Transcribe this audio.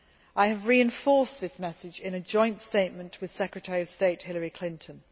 I have reinforced this message in a joint statement with US Secretary of State Hillary Clinton.